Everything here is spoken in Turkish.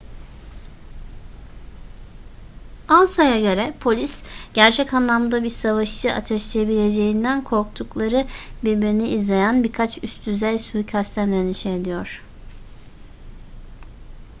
ansa'ya göre polis gerçek anlamda bir savaşı ateşleyebileceğinden korktukları birbirini izleyen birkaç üst düzey suikastten endişe ediyor